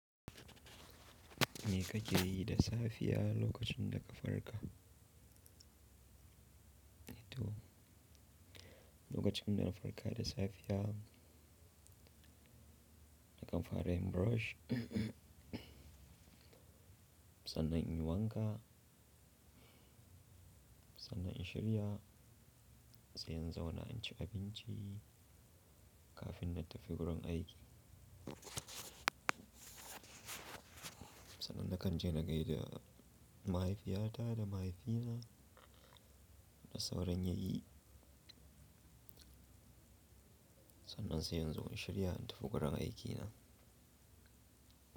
Me ka yi da safiya lokacin da ka farka. To, lokacin da na farka da safiya, na kamfare wanke hakori na sannan in yi wanka, sannan in shirya, sai in zauna na ci abinci kafin na tafi wurin aiki. Sannan na kan je na gaida mahaifiyata da mahaifina da sauran yayi. Sannan sai yanzu zan shirya in tafi wurin aikina.